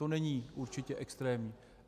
To není určitě extrémní.